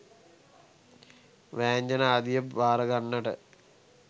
වෑංජන ආදිය භාරගන්නට